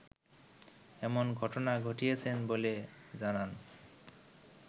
এমন ঘটনা ঘটিয়েছেন বলে জানান